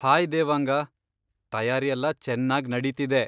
Hi Devanga! ತಯಾರಿಯೆಲ್ಲ ಚೆನ್ನಾಗ್ ನಡೀತಿದೆ.